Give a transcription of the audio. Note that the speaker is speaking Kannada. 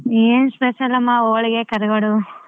ಏನ್ special ಅಮ್ಮಾ ಹೋಳಿಗೆ, ಕರಿಗಡುಬು.